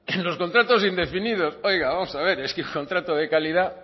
en los contratos indefinidos oiga vamos a ver es que el contrato de calidad